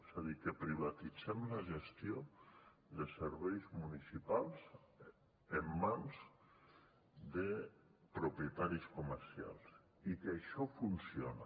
és a dir que privatitzem la gestió de serveis municipals en mans de propietaris comercials i que això funciona